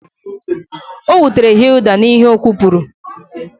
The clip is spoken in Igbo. Hilda was hurt by her verbal eruption